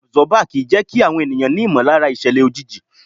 Àbsọ́bà kì í jẹ́kí àwọn ènìyàn ní ìmọ̀lára ìṣẹ̀lẹ̀ òjijì.